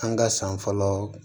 An ka san fɔlɔ